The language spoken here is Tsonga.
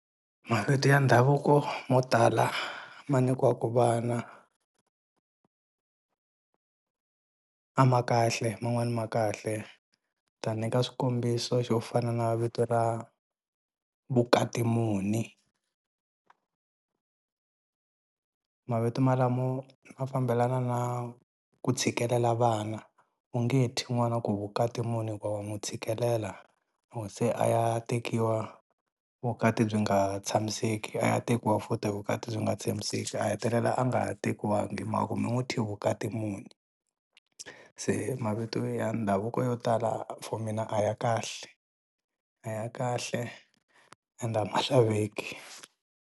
Mavito ya ndhavuko mo tala ma nyikiwaka vana a ma kahle man'wana ma kahle ta nyika swikombiso xo fana na vito ra Vukatimuni mavito malamo ma fambelana na ku tshikelela vana u nge thyi n'wana ku Vukatimuni hikuva wa n'wu tshikelela loko se a ya tekiwa vukati byi nga tshamiseki a ya tekiwa futhi vukati byi nga tshamiseki a hetelela a nga ha tekiwangi hi mhaku mi n'wi thye Vukatimuni se mavito ya ndhavuko yo tala for mina a ya kahle a ya kahle ende a ma xaveki.